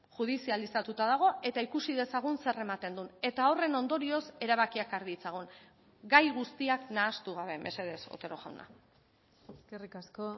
judizializatuta dago eta ikusi dezagun zer ematen duen eta horren ondorioz erabakiak har ditzagun gai guztiak nahastu gabe mesedez otero jauna eskerrik asko